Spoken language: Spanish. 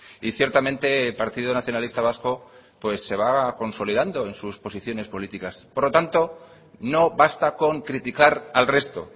y ciertamente el partido nacionalista vasco pues se va consolidando en sus posición políticas por lo tanto no basta con criticar al resto